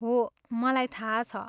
हो, मलाई थाहा छ।